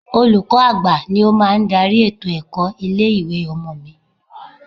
Olùkọ́ àgbà ni ó máa ń darí ètò ẹ̀kọ́ ilé ìwé ọmọ mi.